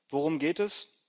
Worum geht es?